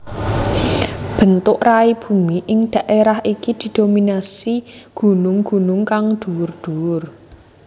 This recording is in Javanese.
Bentuk rai bumi ing dhaerah iki didominasi gunung gunung kang dhuwur dhuwur